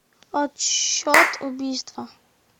отсчет убийства